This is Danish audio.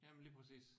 Ja men lige præcis